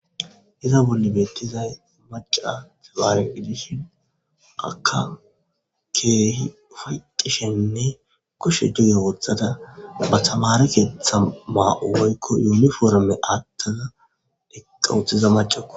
Iza bolli beetizay macca tamaare gidishin akka keehi ufayxashenne kushe duge wothada ba tamaare keeththa ma7o woykko yuuniforme aatada eqqa uttida maccako.